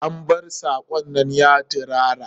An bar sakon nan ya tirara?